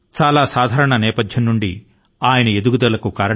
చాలా సాధారణమైన నేపథ్యం నుండి ఆయన ఎదిగారు